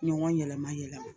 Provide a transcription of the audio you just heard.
Ɲɔgɔn yɛlɛma yɛlɛma